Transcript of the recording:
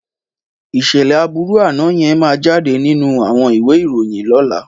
Ìṣẹ̀lẹ̀ aburu àná yẹn máa jáde nínú àwọn ìwé ìròyìn lọ́la.